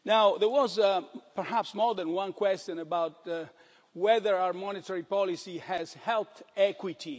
There was perhaps more than one question about whether our monetary policy has helped equity.